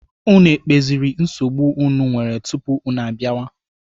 Unu ekpeziri nsogbu unu nwere tupu unu abịawa?